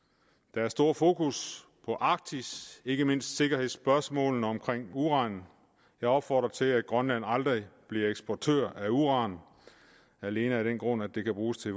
der er stort fokus på arktis ikke mindst sikkerhedsspørgsmålene omkring uran jeg opfordrer til at grønland aldrig bliver eksportør af uran alene af den grund at det kan bruges til